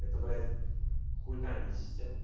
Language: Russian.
это блять хуита а не система